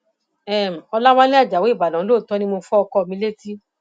um ọlàwálẹ ajáò ìbàdàn lóòótọ ni mo fọ ọkọ mi létí